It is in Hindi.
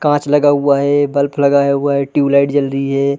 कांच लगा हुआ है बल्ब लगा हुआ हैं ट्युबलाइट जल रही है।